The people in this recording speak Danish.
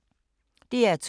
DR2